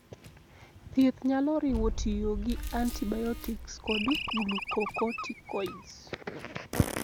Thieth nyalo riwo tiyo gi antibiotics kod glucocorticoids.